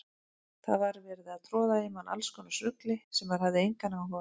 Það var verið að troða í mann allskonar rugli sem maður hafði engan áhuga á.